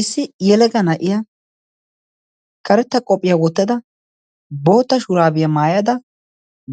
issi yelega na7iya karetta qophphiyaa wottada, boota shuraabiyaa maayada,